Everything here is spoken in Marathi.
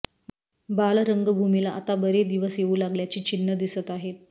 बाल रंगभूमीला आता बरे दिवस येऊ लागल्याची चिन्ह दिसत आहेत